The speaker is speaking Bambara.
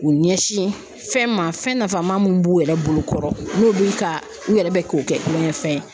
U ɲɛsin fɛn ma fɛn nafama min b'u yɛrɛ bolokɔrɔ n'u bu ka u yɛrɛ bɛ k'o kɛ kulonkɛfɛn ye.